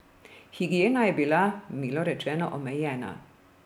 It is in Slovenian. Higiena je bila, milo rečeno, omejena.